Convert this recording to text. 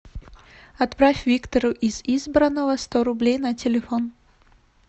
отправь виктору из избранного сто рублей на телефон